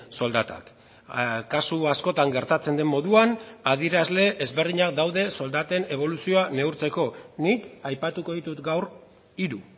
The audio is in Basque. soldatak kasu askotan gertatzen den moduan adierazle ezberdinak daude soldaten eboluzioa neurtzeko nik aipatuko ditut gaur hiru